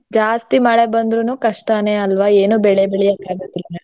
ಜಾಸ್ತಿ ಮಳೆ ಬಂದ್ರೂನೂ ಕಷ್ಟನೆ ಅಲ್ವಾ ಏನೂ ಬೆಳೆ ಬೆಳ್ಯಾಕ್ ಆಗಕಿಲ್ಲ.